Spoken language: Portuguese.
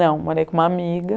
Não, morei com uma amiga.